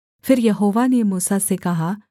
फिर यहोवा ने मूसा से कहा